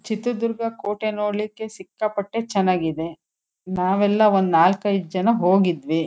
ಚಿತ್ರದುರ್ಗ ಕೋಟೆ ನೋಡ್ಲಿಕ್ಕೆ ಸಿಕ್ಕಾಪಟ್ಟೆ ಚೆನ್ನಾಗಿ ಇದೆ ನಾವೆಲ್ಲ ಒಂದ್ ನಾಲ್ಕು ಐದು ಜನ ಹೋಗಿದ್ವಿ.